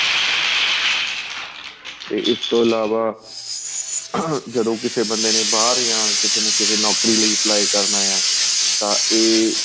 ਤੇ ਇਸ ਤੋ ਇਲਾਵਾਂ ਜਦੋਂ ਕਿਸੇ ਬੰਦੇ ਨੇ ਬਹਾਰ ਜਾਂ ਕਿਸੇ ਨੇ ਨੋਕਰੀ ਲਈ apply ਕਰਨਾ ਆਂ ਤਾਂ ਏ